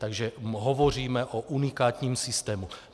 Takže hovoříme o unikátním systému.